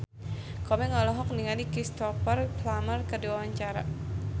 Komeng olohok ningali Cristhoper Plumer keur diwawancara